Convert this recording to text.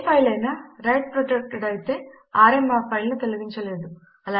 ఏ file అయినా write protected అయితే RM ఆ ఫైల్ ను తొలగించ లేదు